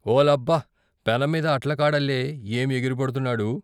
"ఓలబ్బ ! పెనంమీద అట్లకాడల్లే ఏం ఎగిరిపడ్తున్నాడు.